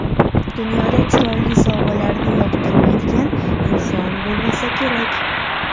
Dunyoda chiroyli sovg‘alarni yoqtirmaydigan inson bo‘lmasa kerak.